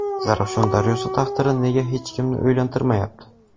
Zarafshon daryosi taqdiri nega hech kimni o‘ylantirmayapti?.